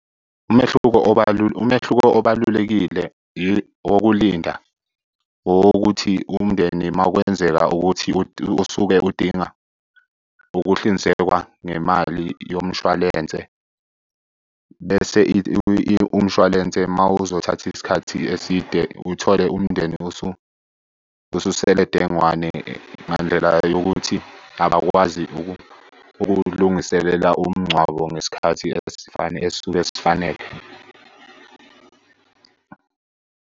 Umehluko , umehluko obalulekile wokulinda owokuthi umndeni uma kwenzeka ukuthi usuke udinga ukuhlinzekwa ngemali yomshwalense, bese umshwalense uma uzothatha isikhathi eside uthole umndeni ususele dengwane ngandlela yokuthi abakwazi ukuwulungiselela umngcwabo ngesikhathi esisuke sifanele.